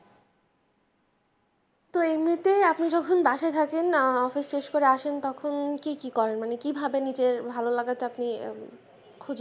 তো এই মুহূর্তে আপনি যখন বাসায় থাকেন আহ office শেষ করে আসেন তখন কি কি করেন মানে কিভাবে আপনি খোঁজেন।